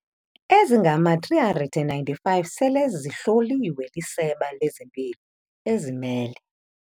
ezingama-395 sele zihloliwe liSebe lezeMpilo, ezimele